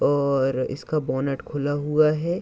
और इसका बोनट खुला हुआ है।